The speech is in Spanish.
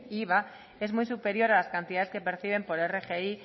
iva es muy superior a las cantidades que perciben por rgi